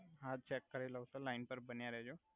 હા ચેક કરી લવ તો લઈન પર બન્યા રેહ્જો